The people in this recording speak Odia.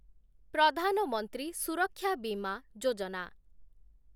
ପ୍ରଧାନ ମନ୍ତ୍ରୀ ସୁରକ୍ଷା ବିମା ଯୋଜନା